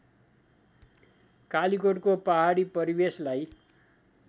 कालिकोटको पहाडी परिवेशलाई